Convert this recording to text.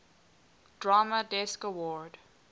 drama desk award